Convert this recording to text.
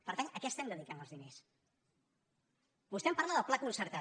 per tant a què estem dedicant els diners vostè em parla del pla concertat